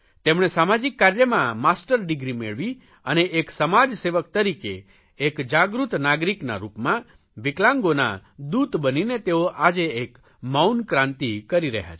તેમણે સામાજિક કાર્યમાં માસ્ટર ડીગ્રી મેળવી અને એક સમાજસેવક તરીકે એક જાગૃત નાગરીકના રૂપમાં વિકલાંગોના દૂત બનીને તેઓ આજે એક મૌન ક્રાંતિ કરી રહ્યા છે